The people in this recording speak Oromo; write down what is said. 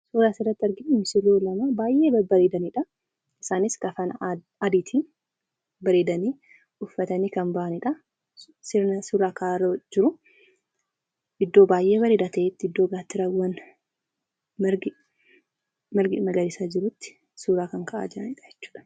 Suuraaan asirratti agarru misirroo lama baayyee babbareedaniidha. Isaanis kafana adiitiin bareedanii, uffatanii kan bahaniidha. Sirna suuraa ka'aa jiru. Iddoo baayyee bareedaa ta'etti, iddoo gaattiraawwan, margi lalisaan jirutti suuraa kan ka'aa jiranidha jechuudha.